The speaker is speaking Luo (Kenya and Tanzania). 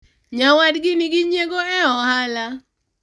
nyawadgi nigi nyiego e ohala